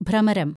ഭ്രമരം